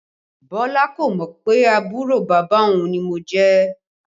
Bọlá kò mọ pé àbúrò bàbá òun ni mo jẹ́